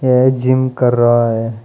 यह जिम कर रहा है।